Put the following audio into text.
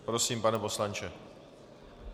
Prosím, pane poslanče.